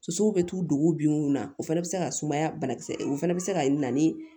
Sosow bɛ t'u dongu bin mun na o fana bɛ se ka sumaya banakisɛ o fana bɛ se ka na ni